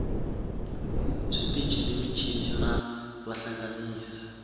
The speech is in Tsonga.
switichi ni michini na vahlanganisi